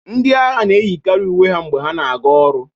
ndị agha na-eyikarị uwe ha mgbe ha na-aga ọrụ